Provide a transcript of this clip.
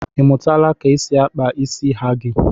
Ịmụtala ka e si akpa isi hagi?